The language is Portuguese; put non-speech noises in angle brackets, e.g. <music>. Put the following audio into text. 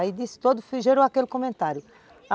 <unintelligible> Aí gerou aquele comentário.